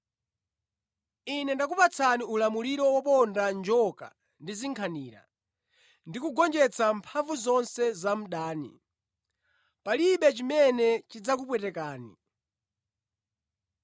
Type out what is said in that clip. Ine ndakupatsani ulamuliro woponda njoka ndi zinkhanira, ndi kugonjetsa mphamvu zonse za mdani; palibe chimene chidzakupwetekani.